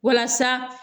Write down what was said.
Walasa